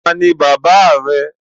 Taani bàbà rẹ